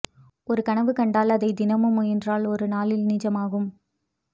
ஓரு கனவு கண்டால் அதை தினம் முயன்றால் ஓரு நாளில் நிஜமாகும்